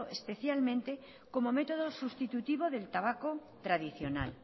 especialmente como método sustitutivo del tabaco tradicional